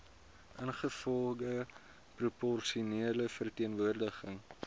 ingevolge proporsionele verteenwoordiging